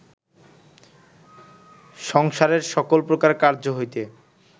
সংসারের সকল প্রকার কার্য্য হইতে